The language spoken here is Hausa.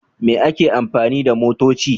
Me ake amfani da motoci?